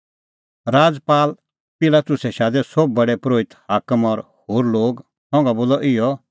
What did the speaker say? पिलातुसै शादै सोभै प्रधान परोहित हाकम और होर लोग संघा बोलअ इहअ